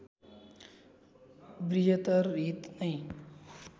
बृहत्तर हित नै